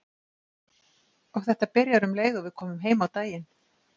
Og þetta byrjar um leið og við komum heim á daginn.